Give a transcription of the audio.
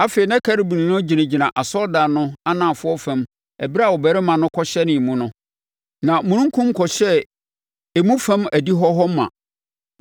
Afei na Kerubim no gyinagyina asɔredan no anafoɔ fam ɛberɛ a ɔbarima no kɔhyɛnee mu no, na omununkum kɔhyɛɛ emu fam adihɔ hɔ ma.